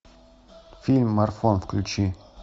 фильм марафон включи